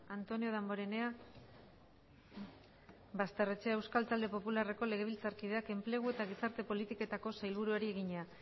antonio damborenea basterrechea euskal talde popularreko legebiltzarkideak enplegu eta gizarte politiketako sailburuari egina